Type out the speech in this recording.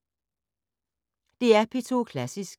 DR P2 Klassisk